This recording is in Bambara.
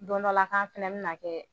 Don dɔ la k'an fana min na kɛ